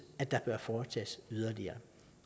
at der bør foretages yderligere